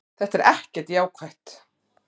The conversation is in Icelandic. Þetta er ekkert jákvætt.